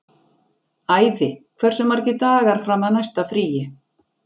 Ævi, hversu margir dagar fram að næsta fríi?